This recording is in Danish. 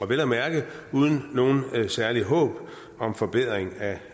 vel at mærke uden noget særligt håb om forbedring af